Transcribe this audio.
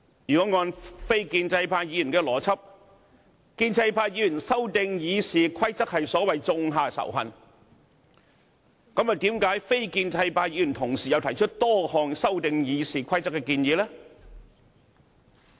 如果按非建制派議員的邏輯，建制派議員修訂《議事規則》是所謂種下仇恨，那麼非建制派議員為何同時又提出多項修訂《議事規則》的建議呢？